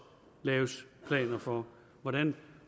laves planer for hvordan